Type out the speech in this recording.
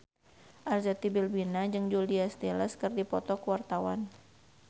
Arzetti Bilbina jeung Julia Stiles keur dipoto ku wartawan